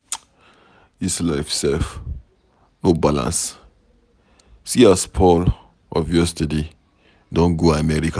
Dis life sef no balance, see as Paul of yesterday don go America.